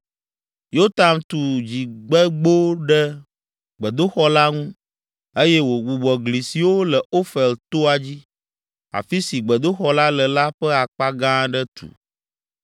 Yotam tu Dzigbegbo ɖe gbedoxɔ la ŋu eye wògbugbɔ gli siwo le Ofel toa dzi, afi si gbedoxɔ la le la ƒe akpa gã aɖe tu.